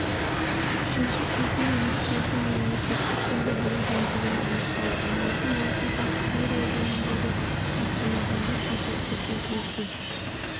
үшінші кезең үміткердің мемлекеттік тілді білуі деңгейін анықтау алматы маусым қаз сирия жөніндегі астанадағы кезекті кездесу